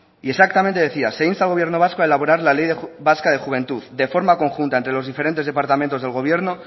y exactamente decía se insta al gobierno vasco a elaborar la ley vasca de juventud de forma conjunta entre los diferentes departamentos del gobierno